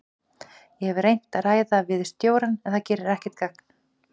Ég hef reynt að ræða við stjórann en það gerir ekkert gagn.